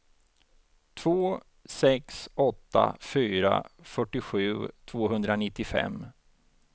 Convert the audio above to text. två sex åtta fyra fyrtiosju tvåhundranittiofem